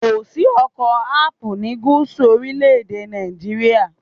Kò sí oko Ápù ni gúúsù orílẹ̀ èdè Nàìjíríà.